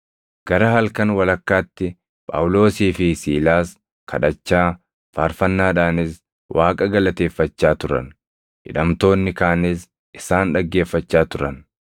Gara halkan walakkaatti Phaawulosii fi Siilaas kadhachaa, faarfannaadhaanis Waaqa galateeffachaa turan; hidhamtoonni kaanis isaan dhaggeeffachaa turan.